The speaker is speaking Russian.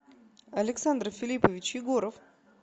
александр филиппович егоров